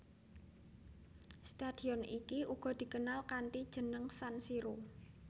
Stadion iki uga dikenal kanthi jeneng San Siro